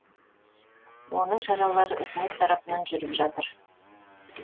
оның шаралары үкімет тарапынан жүріп жатыр